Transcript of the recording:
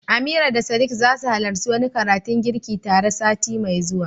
Amira da Sadiq zasu halarci wani karatun girki tare sati mai zuwa.